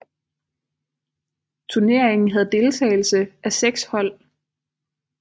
Turneringen havde deltagelse af 6 hold